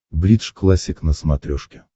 бридж классик на смотрешке